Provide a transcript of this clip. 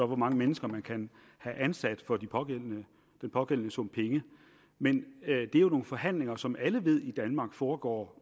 mange mennesker man kan have ansat for den pågældende pågældende sum penge men det er jo nogle forhandlinger som alle ved foregår